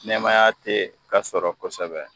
Nɛmaya te ka sɔrɔ kosɛbɛ